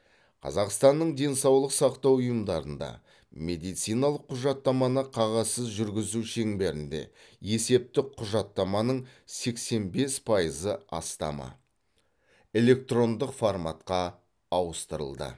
қазақстанның денсаулық сақтау ұйымдарында медициналық құжаттаманы қағазсыз жүргізу шеңберінде есептік құжаттаманың сексен бес пайызы астамы электрондық форматқа ауыстырылды